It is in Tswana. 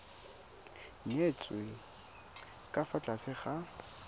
nyetswe ka fa tlase ga